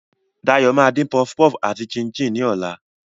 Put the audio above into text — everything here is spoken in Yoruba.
Dayo máa dín puff puff àti chin-chin ní ọ̀la.